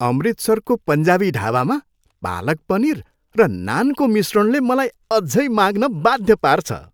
अमृतसरको पन्जाबी ढाबामा पालक पनीर र नानको मिश्रणले मलाई अझै माग्न बाध्य पार्छ।